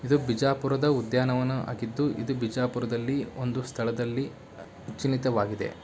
ಇದು ಬಿಜಾಪುರದ ಉದ್ಯಾನವನ ಆಗಿದ್ದು ಇದು ಬಿಜಾಪುರದಲ್ಲಿ ಒಂದು ಸ್ಥಳದಲ್ಲಿ ಅಚಿಲಿತವಾಗಿದೆ.